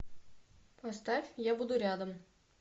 поставь я буду рядом